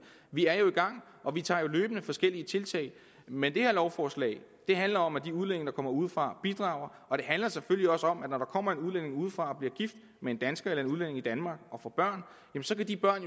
vi er jo i gang og vi tager løbende forskellige tiltag men det her lovforslag handler om at de udlændinge der kommer udefra bidrager og det handler selvfølgelig også om at når der kommer en udlænding udefra og bliver gift med en dansker eller en udlænding bosat i danmark og får børn så vil de børn